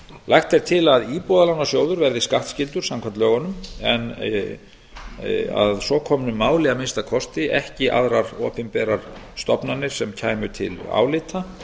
lagt er til að íbúðalánasjóður verði skattskyldur samkvæmt lögunum en að að minnsta kosti að svo komnu máli ekki aðrar opinberar stofnanir sem kæmu til álita